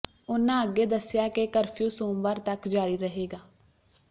ਉਨ੍ਹਾਂ ਅੱਗੇ ਦੱਸਿਆ ਕਿ ਕਰਫਿਊ ਸੋਮਵਾਰ ਤੱਕ ਜਾਰੀ ਰਹੇਗਾ